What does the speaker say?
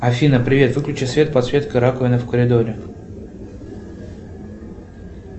афина привет выключи свет подсветка раковины в коридоре